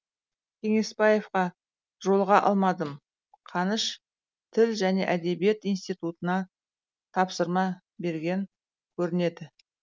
кеңесбаевқа жолыға алмадым қаныш тіл және әдебиет институтына тапсырма берген көрінеді